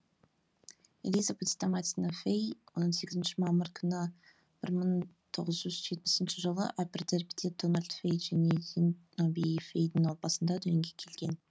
элизабет стаматина фей он сегізінші мамыр күні бір мың тоғыз жүз жетпісінші жылы аппер дэрбиде дональд фей және зенобии фейдің отбасында дүниеге келген